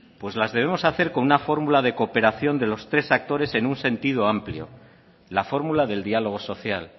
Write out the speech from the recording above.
pues las debemos hacer con una fórmula de cooperación de los tres actores en un sentido amplio la fórmula del diálogo social